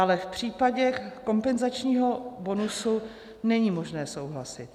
Ale v případě kompenzačního bonusu není možné souhlasit.